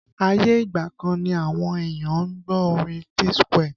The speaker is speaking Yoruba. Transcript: Ayé ìgbà kan ni àwọn èèyàn ń gbọ́ orin P Square